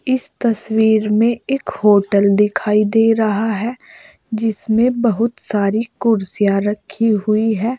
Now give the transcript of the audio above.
इस तस्वीर में एक होटल दिखाई दे रहा है जिसमें बहुत सारी कुर्सियां रखी हुई हैं।